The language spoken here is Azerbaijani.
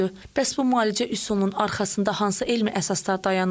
Bəs bu müalicə üsulunun arxasında hansı elmi əsaslar dayanır?